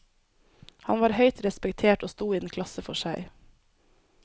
Han var høyt respektert og sto i en klasse for seg.